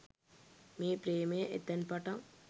මේ ප්‍රේමය එතැන් පටන්